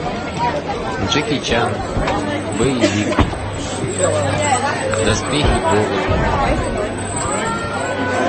джеки чан боевик доспехи бога